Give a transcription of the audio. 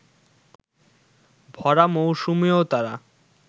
ভরা মৌসুমেও তারা